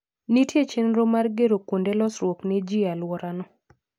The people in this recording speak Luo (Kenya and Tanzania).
Nitie chenro mar gero kunode losruok ne ji e alworano.